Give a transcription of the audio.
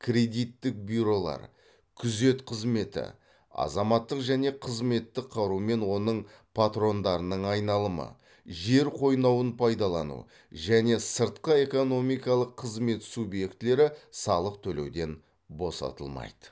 кредиттік бюролар күзет қызметі азаматтық және қызметтік қару мен оның патрондарының айналымы жер қойнауын пайдалану және сыртқы экономикалық қызмет субъектілері салық төлеуден босатылмайды